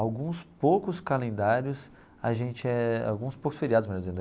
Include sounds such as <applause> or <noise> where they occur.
Alguns poucos calendários a gente eh, alguns poucos feriados mesmo. <unintelligible>